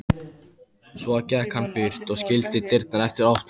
Svo gekk hann burt og skildi dyrnar eftir opnar.